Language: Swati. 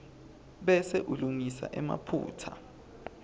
bese ulungisa emaphutsa